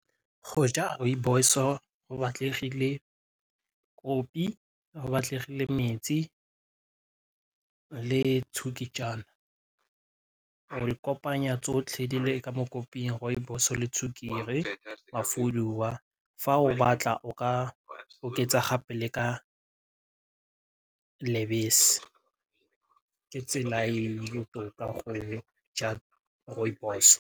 Go ja rooibos-o go batletlile kopi, go batlagale metsi le o e kopanya tsotlhe di le ka mo koping rooibos le tsoekere wa fuduwa fa o batla o ka oketsa gape le ka lebese ke tsela tota mo go ja rooibos.